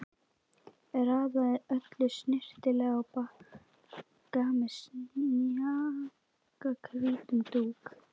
Raðaði öllu snyrtilega á bakka með snjakahvítum dúk.